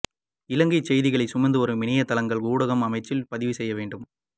இலங்கை செய்திகளை சுமந்துவரும் இணையத் தளங்கள் ஊடக அமைச்சில் பதிவு செய்ய வேண்டும்